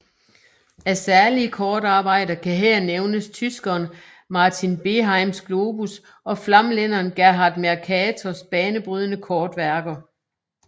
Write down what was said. Af særlige kortarbejder kan her nævnes tyskeren Martin Behaims globus og flamlænderen Gerhard Mercators banebrydende kortværker